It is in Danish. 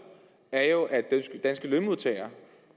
er jo at danske lønmodtagere